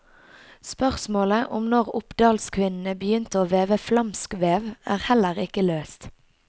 Spørsmålet om når oppdalskvinnene begynte å veve flamskvev, er heller ikke løst.